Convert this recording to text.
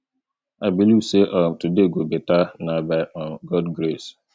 i believe sey um today go beta na by um god grace